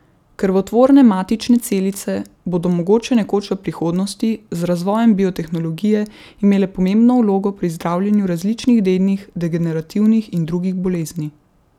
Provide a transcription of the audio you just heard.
Krvotvorne matične celice bodo mogoče nekoč v prihodnosti, z razvojem biotehnologije, imele pomembno vlogo pri zdravljenju različnih dednih, degenerativnih in drugih bolezni.